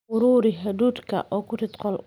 Ururi hadhuudhka oo ku rid qolka.